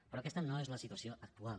però aquesta no és la situació actual